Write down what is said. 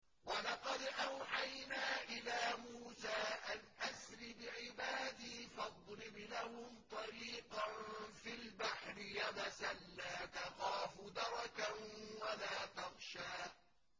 وَلَقَدْ أَوْحَيْنَا إِلَىٰ مُوسَىٰ أَنْ أَسْرِ بِعِبَادِي فَاضْرِبْ لَهُمْ طَرِيقًا فِي الْبَحْرِ يَبَسًا لَّا تَخَافُ دَرَكًا وَلَا تَخْشَىٰ